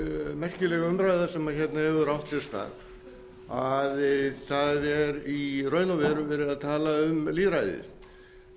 merkileg umræða sem hefur átt sér stað það er í raun og veru verið að tala um lýðræðið